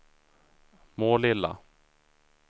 Målilla